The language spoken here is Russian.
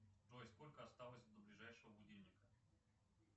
джой сколько осталось до ближайшего будильника